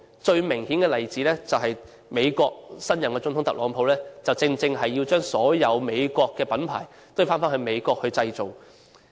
最明顯的例子，就是美國新任總統特朗普正正是要將所有美國品牌返回美國本土製造。